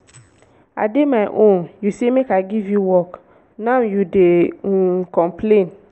i dey my own you say make i give you work now you dey um complain